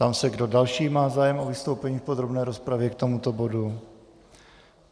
Ptám se, kdo další má zájem o vystoupení v podrobné rozpravě k tomuto bodu.